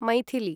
Maithili